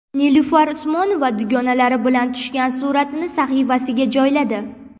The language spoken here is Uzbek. Nilufar Usmonova dugonalari bilan tushgan suratini sahifasiga joyladi.